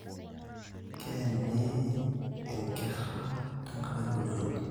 Keeni inkera tengarakii olchoni